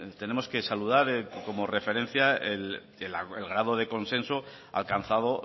tenemos que saludar que como referencia el grado de consenso alcanzado